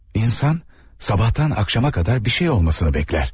İnsan sabahdan axşama qədər bir şey olmasını bəklər.